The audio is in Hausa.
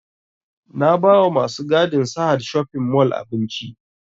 Na ba wa masu gadin sahad shopping mall abinci